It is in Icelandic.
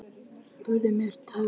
Burt með tabú